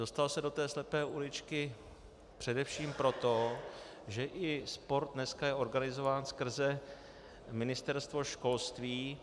Dostal se do té slepé uličky především proto, že i sport dneska je organizován skrze Ministerstvo školství.